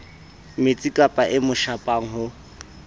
metsikapa e mo shapang ho